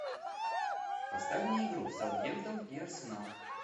поставь мне игру саутгемптон и арсенал